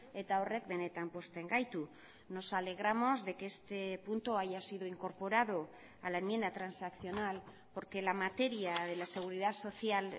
eta horrek benetan pozten gaitu nos alegramos de que este punto haya sido incorporado a la enmienda transaccional porque la materia de la seguridad social